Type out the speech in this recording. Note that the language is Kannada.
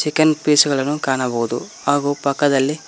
ಚಿಕನ್ ಪೀಸ್ ಗಳನ್ನು ಕಾಣಬಹುದು ಹಾಗು ಪಕ್ಕದಲ್ಲಿ--